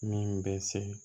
Min bɛ se